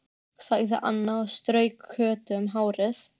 sagði Anna og strauk Kötu um hárið.